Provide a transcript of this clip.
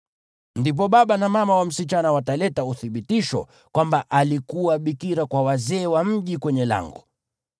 ndipo baba na mama wa msichana wataleta uthibitisho kwamba alikuwa bikira kwa wazee wa mji kwenye lango.